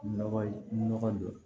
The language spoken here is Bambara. Nɔgɔ nɔgɔ don